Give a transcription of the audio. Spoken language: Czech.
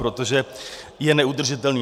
Protože je neudržitelný.